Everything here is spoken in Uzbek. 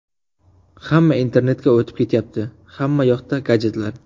Hamma internetga o‘tib ketayapti, hammayoqda gadjetlar.